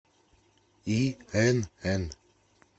инн